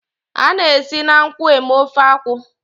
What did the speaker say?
A na-esi na nkwụ eme ofe akwụ.